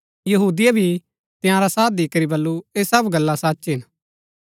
यहूदिये भी तंयारा साथ दिकरी बल्लू ऐह सब गल्ला सच हिन